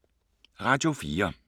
Radio 4